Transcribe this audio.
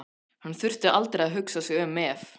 Hann þurfti aldrei að hugsa sig um ef